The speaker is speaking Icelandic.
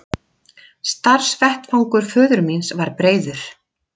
Starfsvettvangur föður míns var breiður.